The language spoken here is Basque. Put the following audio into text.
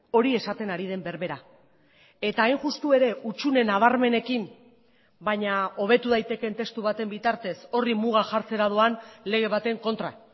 hori esaten ari den berbera eta hain justu ere hutsune nabarmenekin baina hobetu daitekeen testu baten bitartez horri muga jartzera doan lege baten kontra